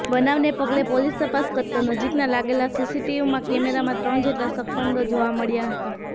બનાવને પગલે પોલીસ તપાસ કરતા નજીકમાં લાગેલા સીસીટીવમાં કેમેરામાં ત્રણ જેટલા શકમંદો જોવા મળ્યાં હતા